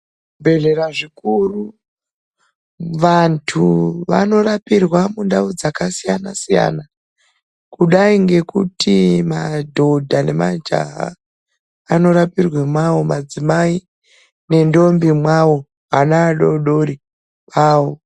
Muzvibhehlera zvikuru vantu vanorapirwa mundau dzakasiyana siyana kudai ngekuti madhodha nemajaha anorapirwe mwawo, madzimai nentombi mwawo, ana adodori kwavo.